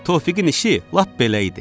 Tofiqin işi lap belə idi.